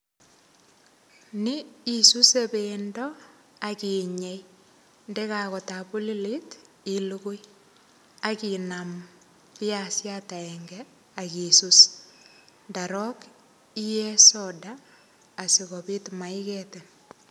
Ni isuse pendo, akinyei. Ndekakotabulilit, ilugui. Akinam viasiat agenge, akisus. Ndarop, iee soda, asikobit maiketin.